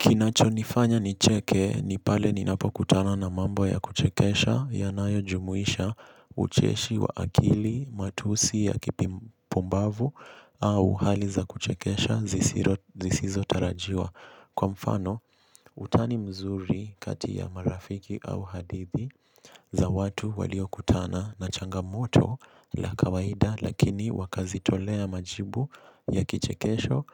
Kinachonifanya nicheke ni pale ninapokutana na mambo ya kuchekesha yanayojumuisha ucheshi wa akili matusi ya kipumbavu au hali za kuchekesha zisizotarajiwa. Kwa mfano, utani mzuri kati ya marafiki au hadithi za watu waliokutana na changamoto la kawaida lakini wakazitolea majibu ya kichekesho